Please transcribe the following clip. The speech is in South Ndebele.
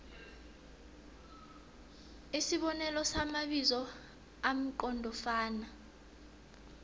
isibonelo samabizo amqondofana